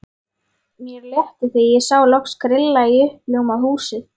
Mér létti þegar ég sá loks grilla í uppljómað húsið.